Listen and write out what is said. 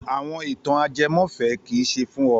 Àwọn ìtàn ajẹmọ́fẹ̀ẹ́ kì í ṣe fún ọ!